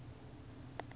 ndzhati